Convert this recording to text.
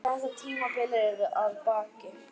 Þetta tímabil er að baki.